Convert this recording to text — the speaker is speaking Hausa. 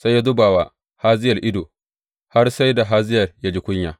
Sai ya zuba wa Hazayel ido har sai da Hazayel ya ji kunya.